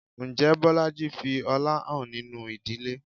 Ǹjẹ́ Bolaji fi ọlá hàn nínú ìdílé?